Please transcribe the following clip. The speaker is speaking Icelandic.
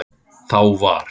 Þá var